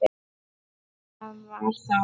En það var þá.